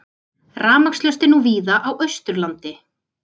Rafmagnslaust er nú víða á Austurlandi